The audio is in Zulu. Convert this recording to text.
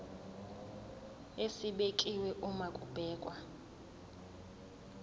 esibekiwe uma kubhekwa